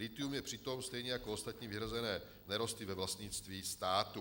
Lithium je přitom stejně jako ostatní vyhrazené nerosty ve vlastnictví státu.